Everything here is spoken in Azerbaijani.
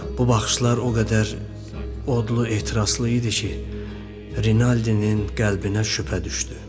Bu baxışlar o qədər odlu, etirazlı idi ki, Rinaldinin qəlbinə şübhə düşdü.